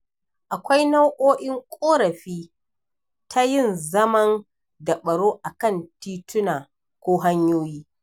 Akwai nau'in ƙorafi ta yin zaman- daɓaro a kan tituna ko hanyoyi.